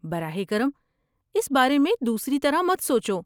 براہ کرم اس بارے میں دوسری طرح مت سوچو۔